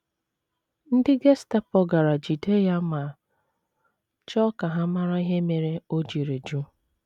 Ndị Gestapo gara jide ya ma chọọ ka ha mara ihe mere o jiri jụ.